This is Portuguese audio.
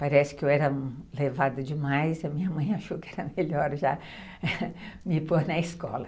Parece que eu era levada demais, a minha mãe achou que era melhor já me pôr na escola.